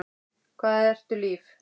Hvað ertu líf?